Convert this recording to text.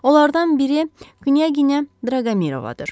Onlardan biri Knyaqina Draqomirovadır.